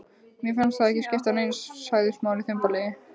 Mér fannst það ekki skipta neinu sagði Smári þumbaralega.